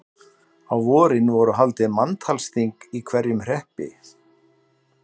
Á vorin voru haldin manntalsþing í hverjum hreppi.